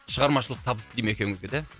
шығармашылық табыс тілеймін екеуіңізге де